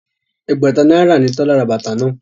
Ẹgbẹ̀ta náírà ni Tọ́lá ra bàtà náà